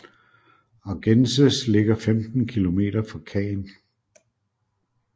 Argences ligger 15 km fra Caen